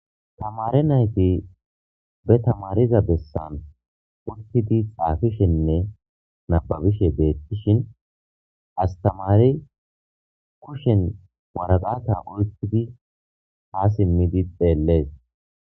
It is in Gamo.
Tamare nayti be tamariza bessan urtidi xaafishenne nababishe deettishin astamari kushen waradata uytidi haa simmidi xeellees.